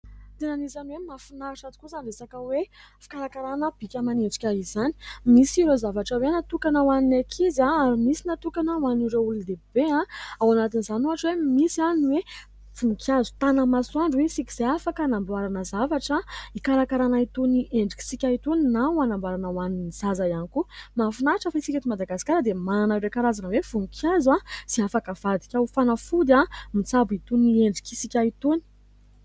Tena anisan'ny hoe mahafinaritra tokoa izany resaka hoe fikarakarana bika aman'endrika izany. Misy ireo zavatra hoe natokana ho an'ny ankizy ary misy natokana ho an'ireo olondehibe. Ao anatin'izany ohatra hoe misy ny hoe voninkazo tanamasoandro hoy isika izay afaka anamboarana zavatra ikarakarana itony endritsika itony na anamboarana ho an'ny zaza ihany koa. Mahafinahitra fa isika eto Madagasikara dia manana ireo karazana hoe voninkazo izay afaka avadika ho fanafody mitsabo itony endritsika itony.